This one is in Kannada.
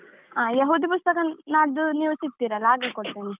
ಹಾ, ಯಹೂದಿ ಪುಸ್ತಕ ನಾಡ್ಡು ನೀವು ಸಿಕ್ತಿರಲ್ಲಾ ಆಗ ಕೊಡ್ತೇನೆ.